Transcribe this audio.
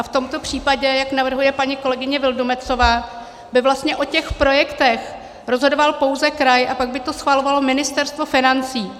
A v tomto případě, jak navrhuje paní kolegyně Vildumetzová, by vlastně o těch projektech rozhodoval pouze kraj a pak by to schvalovalo Ministerstvo financí.